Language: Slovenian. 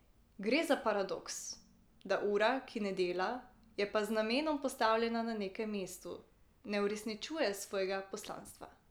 Gre za paradoks, da ura, ki ne dela, je pa z namenom postavljena na nekem mestu, ne uresničuje svojega poslanstva.